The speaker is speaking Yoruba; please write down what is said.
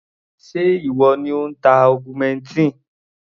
Ṣé ìwọ ni ò ń ta augmentin?